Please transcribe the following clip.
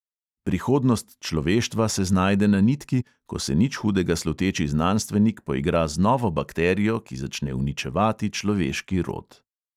Prihodnost človeštva se znajde na nitki, ko se nič hudega sluteči znanstvenik poigra z novo bakterijo, ki začne uničevati človeški rod.